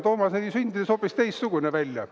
Toomas nägi sündides hoopis teistsugune välja.